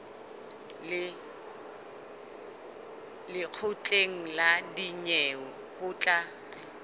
lekgotleng la dinyewe ho tla